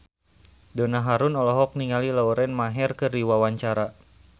Donna Harun olohok ningali Lauren Maher keur diwawancara